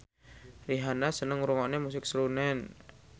Rihanna seneng ngrungokne musik srunen